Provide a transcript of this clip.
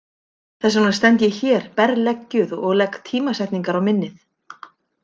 Þess vegna stend ég hér berleggjuð og legg tímasetningar á minnið.